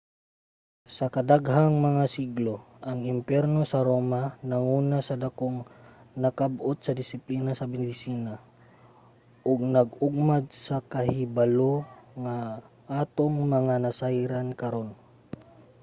sa kadaghang mga siglo ang imperyo sa roma nanguna sa dakong nakab-ot sa disiplina sa medisina ug nag-ugmad sa kahibalo nga atong mga nasayran karon